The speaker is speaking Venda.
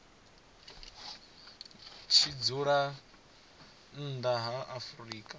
tshi dzula nnḓa ha afrika